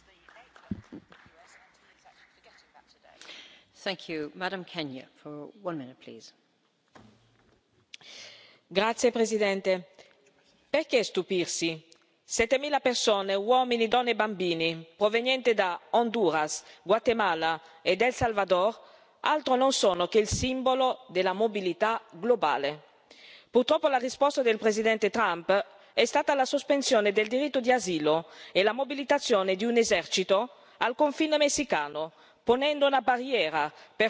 Signora Presidente, onorevoli colleghi, perché stupirsi? Settemila persone uomini, donne e bambini provenienti da Honduras, Guatemala ed El Salvador altro non sono che il simbolo della mobilità globale. Purtroppo, la risposta del Presidente Trump è stata la sospensione del diritto di asilo e la mobilitazione di un esercito al confine messicano, ponendo una barriera per fermare coloro che potrebbero avere diritto